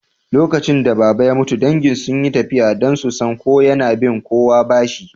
Lokacin da Baba ya mutu, dangi sun yi tafiya don su san ko yana bin kowa bashi